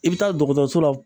I bɛ taa dɔgɔtɔrɔso la